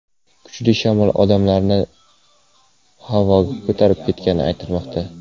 Kuchli shamol odamlarni-da havoga ko‘tarib ketgani aytilmoqda.